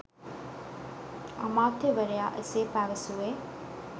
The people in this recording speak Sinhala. අමාත්‍යවරයා එසේ පැවසුවේ